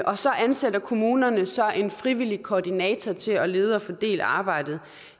og så ansætter kommunerne så en frivillig koordinator til at lede og fordele arbejdet